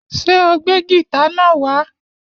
Ṣé o gbé gìtá náà wá?